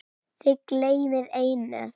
Þið gleymið einu.